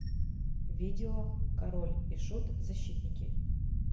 видео король и шут защитники